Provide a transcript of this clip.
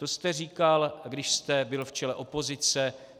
To jste říkal, když jste byl v čele opozice.